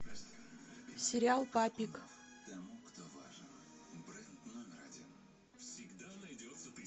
сериал папик